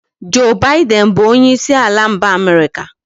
Joe Biden bụ onyeisi ala mba America